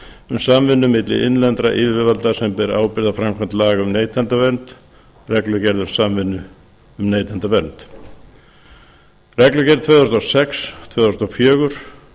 um samvinnu milli innlendra yfirvalda sem bera ábyrgð á framkvæmd laga um neytendavernd reglugerð tvö þúsund og sex tvö þúsund og fjögur